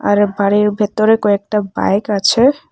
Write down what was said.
আর বাড়ির ভেতরে কয়েকটা বাইক আছে।